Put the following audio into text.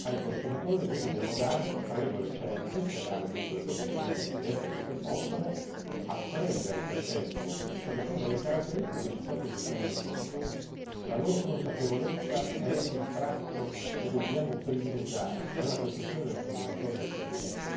Ai consumatori noi dobbiamo dare regole certe, creare dunque le condizioni di ambiente perché possano apprendere per tempo quali sono le caratteristiche di ciò che decidono di consumare. La loro consapevolezza è il tratto che dobbiamo privilegiare nella costruzione del consumatore del futuro.